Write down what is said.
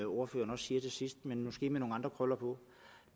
ordføreren siger til sidst men måske med nogle andre krøller på